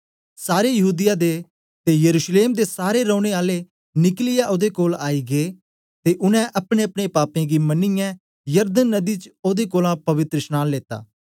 सारे यहूदीया दे ते यरूशलेम दे सारे रौने आले निकलियै ओदे कोल आई गै ते उनै अपनेअपने पापें गी मनियै यरदन नदी च ओदे कोलां पवित्रशनांन लीता